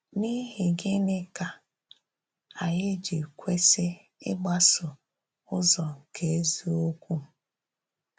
N’íhì gịnị ka anyị jì kwesì ígbàsò ụzọ̀ nke ezíokwu?